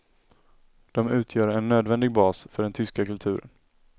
De utgör en nödvändig bas för den tyska kulturen.